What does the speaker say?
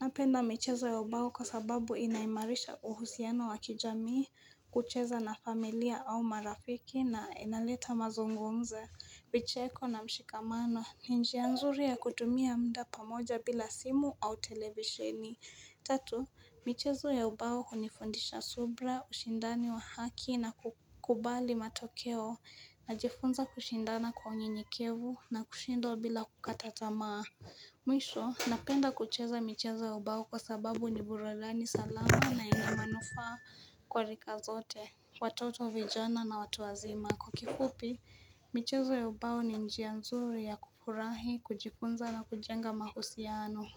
napenda michezo ya ubao kwa sababu inaimarisha uhusiano wakijami, kucheza na familia au marafiki na inaleta mazungumzo. Vicheko na mshikamano, ni njia nzuri ya kutumia muda pamoja bila simu au televisheni. Tatu, michezo ya ubao hunifundisha subra, ushindani wa haki na kukubali matokeo, najifunza kushindana kwa unyenyekevu na kushindwa bila kukata tamaa. Mwisho napenda kucheza michezo ya ubao kwa sababu ni buradani salama na ina manufa kwa rika zote Watoto vijana na watu wazima Kwa kifupi michezo ya ubao ni njia nzuri ya kufurahi kujifunza na kujenga mahusiano.